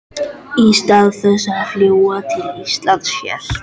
Í stað þess að fljúga til Íslands hélt